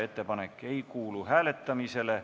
Ettepanek ei kuulu hääletamisele.